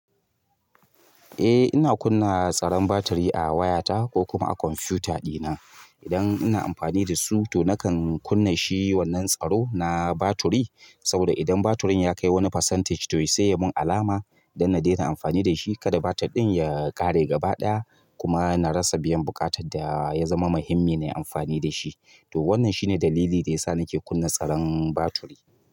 Eh ina kunna tsaron batiri a wayata ko kuma a kwamfuta ɗina. Idan ina amfani da su to nakan kunna shi wannan tsaro na batiri, saboda idan batirin ya kai wani percentage toh ya saya mun alama dan na daina amfani da shi. Kada batir ɗin ya ƙare gaba ɗaya kuma na rasa biyan buƙatar da ya zama muhimmin na amfani da shi. Toh wannan shine dalili da ya sa nake kunna tsaron batiri.